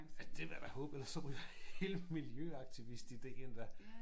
Ja det vil jeg da håbe ellers så ryger hele miljøaktivistideen da